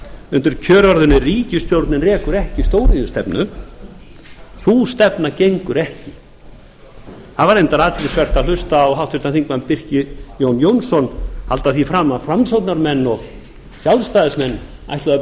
undir kjörorðinu ríkisstjórnin rekur ekki stóriðjustefnu sú stefna gengur ekki það var reyndar athyglisvert að hlusta á háttvirtum þingmönnum birki jón jónsson halda því fram að framsóknarmenn og sjálfstæðismenn ætluðu að